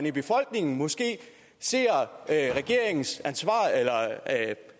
i befolkningen måske ser regeringens